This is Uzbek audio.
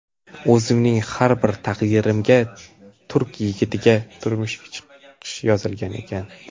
O‘zimning ham taqdirimga turk yigitiga turmushga chiqish yozilgan ekan.